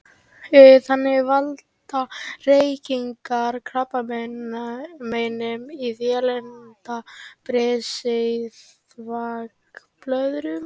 Þannig valda reykingar krabbameinum í vélinda, brisi og þvagblöðru.